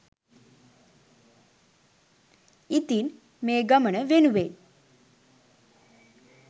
ඉතින් මේ ගමන වෙනුවෙන්